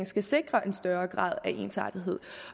skal sikre en større grad af ensartethed